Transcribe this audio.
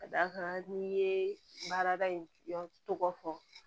Ka d'a kan n'i ye baarada in tɔgɔ fɔ